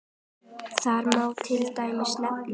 Þar má til dæmis nefna